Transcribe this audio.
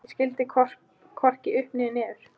Ég skildi hvorki upp né niður.